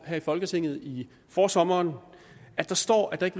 her i folketinget i forsommeren står at der ikke